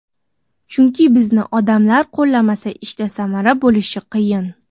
Chunki bizni odamlar qo‘llamasa ishda samara bo‘lishi qiyin.